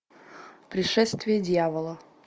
пришествие дьявола